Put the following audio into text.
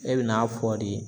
E bɛ n'a fɔ de